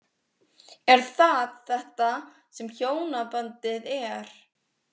Er það þetta sem hjónabandið er?